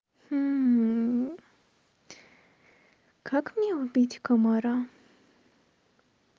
как мне убить комара